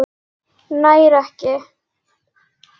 Nær ekki.